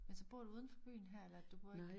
Men så bor du uden for byen her eller du bor ikke?